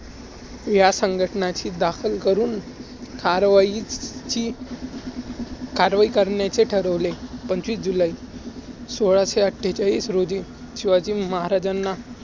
ह्या संघटनाची दाखल करून कारवाईची~ कारवाई करण्याचे ठरवले. पंचवीस जुलाई